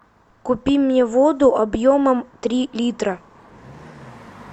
купи мне воду объемом три литра